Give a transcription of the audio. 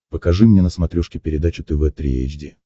покажи мне на смотрешке передачу тв три эйч ди